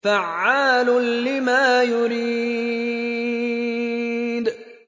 فَعَّالٌ لِّمَا يُرِيدُ